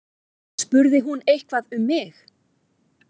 Spurði hún eitthvað um mig?